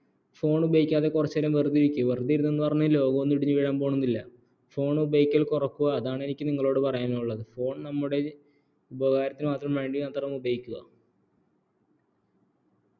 phone ഉപയോഗിക്കാതെ കുറച്ചുനേരം വെറുതെ ഇരിക്കുക വെറുതെ ഇരുന്നെന്നു പറഞ്ഞു ലോകോന്നും ഇടിഞ്ഞു വീഴാൻ പോവുന്നില്ല phone ഉപയാഗം കുറക്കുക അതാണ് എനിക്ക് നിങ്ങളോട് പറയാനുള്ളത് phone നമ്മുടെ ഉപകാരത്തിനുവേണ്ടി മാത്രം ഉപയോഗിക്കുക